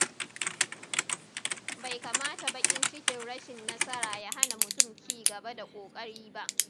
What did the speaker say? Bai kamata baƙin cikin rashin nasara ya hana mutum ci gaba da ƙoƙari ba.